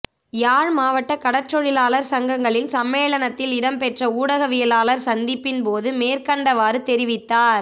யாழ் மாவட்ட கடற்றொழிலாளர் சங்கங்களின் சம்மேளனத்தில் இடம்பெற்ற ஊடகவியலாளர் சந்திப்பின் போது மேற்கண்டவாறு தெரிவித்தார்